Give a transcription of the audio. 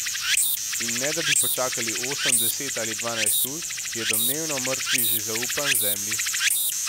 In ne da bi počakali osem, deset ali dvanajst ur, je domnevno mrtvi že zaupan zemlji.